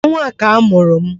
Ọnwa a ka a mụrụ m